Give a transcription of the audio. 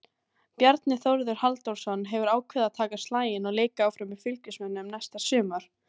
Bjarni Þórður Halldórsson hefur ákveðið að taka slaginn og leika áfram með Fylkismönnum næsta sumar.